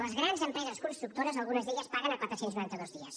les grans empreses constructores algunes d’elles paguen a quatre cents i noranta dos dies